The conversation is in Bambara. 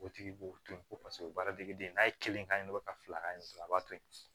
O tigi b'o to yen o bɛ baara dege den n'a ye kelen ka ɲi nɔ ka fila ka ɲɛ a b'a to yen